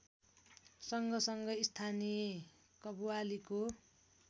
सँगसँगै स्थानीय कव्वालीको